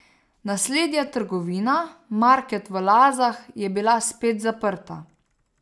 Naslednja trgovina, market v Lazah, je bila spet zaprta.